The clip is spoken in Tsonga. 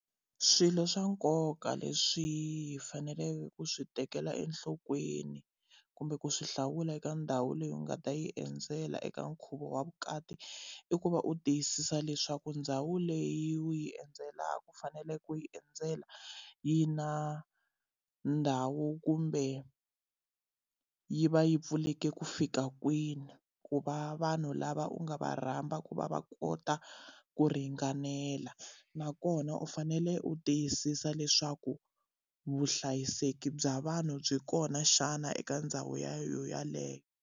Swilo swa nkoka leswi hi faneleke ku swi tekela enhlokweni kumbe ku swi hlawula eka ndhawu leyi u nga ta yi endzela eka nkhuvo wa vukati, i ku va u tiyisisa leswaku ndhawu leyi u yi endzelaka ku fanele ku yi endzela yi na ndhawu kumbe yi va yi pfuleke ku fika kwini. Ku va vanhu lava u nga va rhamba ku va va kota ku ringanela, nakona u fanele u tiyisisa leswaku vuhlayiseki bya vanhu byi kona xana eka ndhawu yeleyo.